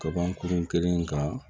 Kaban kurun kelen kan